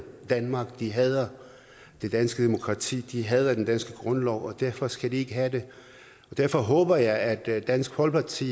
danmark de hader det danske demokrati de hader den danske grundlov og derfor skal de ikke have det og derfor håber jeg at dansk folkeparti